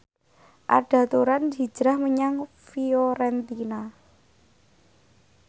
Arda Turan hijrah menyang Fiorentina